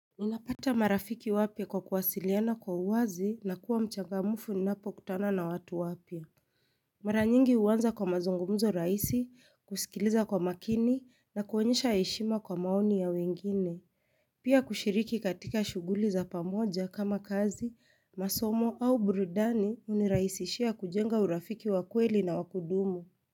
Ninapata marafiki wapya kwa kuwasiliana kwa uwazi na kuwa mchangamufu ninapo kutana na watu wapya. Maranyingi uanza kwa mazungumzo raisi, kusikiliza kwa makini na kuonyesha eshima kwa maoni ya wengine. Pia kushiriki katika shuguli za pamoja kama kazi, masomo au burudani uniraisishia kujenga urafiki wa kweli na wakudumu.